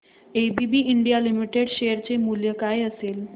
ABB India limited share चे मूल्य काय असेल